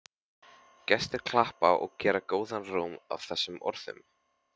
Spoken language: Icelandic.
Gestir klappa og gera góðan róm að þessum orðum.